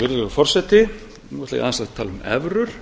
ætla ég aðeins að tala um evrur